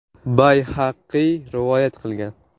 Bayhaqiy rivoyat qilgan.